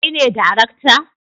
Kai ne darakta